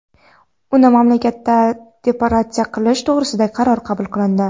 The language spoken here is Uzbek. uni mamlakatdan deportatsiya qilish to‘g‘risida qaror qabul qilindi.